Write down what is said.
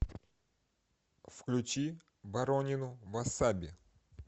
включи боронину васаби